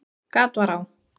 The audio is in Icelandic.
Gat var á